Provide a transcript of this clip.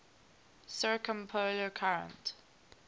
circumpolar current